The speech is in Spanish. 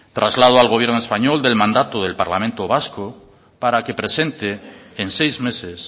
traslado al gobierno español del mandato del parlamento vasco para que presente en seis meses